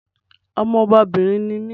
Ọmọ ọbabìnrin ni mí